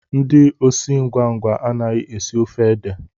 Ndị osi ngwa ngwa anaghị esi ofe ede